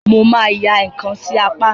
Mo máa ya ǹkan sí apá mi.